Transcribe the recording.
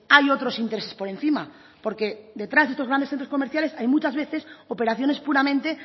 hay otros intereses por encima porque detrás de estos grandes centros comerciales hay muchas veces operaciones puramente